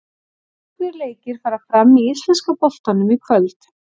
Nokkrir leikir fara fram í íslenska boltanum í kvöld.